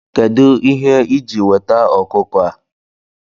Kedu ihe iji weta ọkụkọ a?